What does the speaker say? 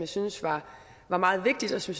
synes var meget vigtigt og som